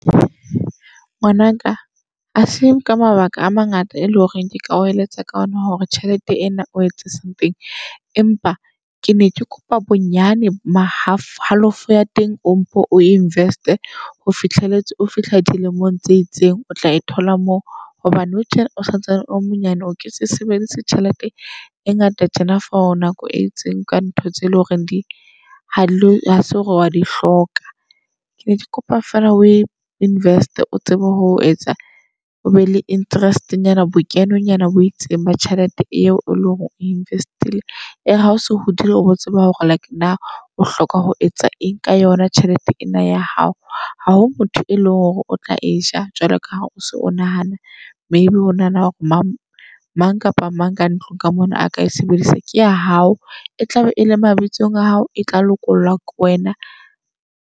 Ngwanaka ase ka mabaka a mangata e leng hore ke ka o eletsa ka ona hore tjhelete ena o etse something. Empa ke ne ke kopa bonyane ma half halofo ya teng o mpo o invest-e ho fihlelletse o fihla dilemong tse itseng o tla e thola moo. Hobane nou tje o santsane o le monyane, o ke se sebedise tjhelete e ngata tjena for nako e itseng ka ntho tse leng hore di ha re hase hore wa di hloka. Ke ne ke kopa feela o e invest-e o tsebe ho etsa o be le interest nyana bokeno nyana bo itseng ba tjhelete eo eleng hore o invest-ile. E re ha o so hodile o bo tseba hore like na o hloka ho etsa eng ka yona tjhelete ena ya hao. Haho motho e leng hore o tla e ja, jwalo ka ha o so o nahana maybe o nahana hore mang mang kapa mang ka ntlong ka mono a ka e sebedisa ke ya hao. E tlabe ele mabitsong a hao, e tla lokollwa ko wena.